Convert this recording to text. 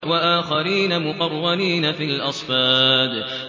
وَآخَرِينَ مُقَرَّنِينَ فِي الْأَصْفَادِ